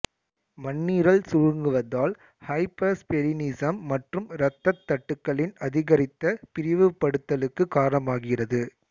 மண்ணீரல் சுருங்குவதால் ஹைபர்ஸ்பெலினிஸம் மற்றும் இரத்தத் தட்டுக்களின் அதிகரித்த பிரிவுபடுதலுக்கு காரணமாகிறது